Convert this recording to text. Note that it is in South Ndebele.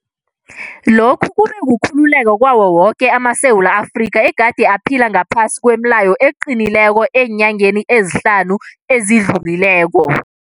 Lokhu kube kukhululeka kwawo woke amaSewula Afrika egade aphila ngaphasi kwemileyo eqinileko eenyangeni ezihlanu ezidlulileko.